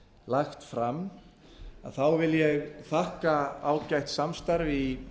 lagt fram vil ég þakka ágætt samstarf í